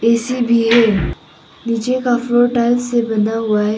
AC भी है नीचे का फ्लोर टाइल्स से बना हुआ है।